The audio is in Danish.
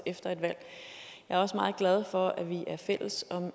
efter et valg jeg er også meget glad for at vi er fælles om et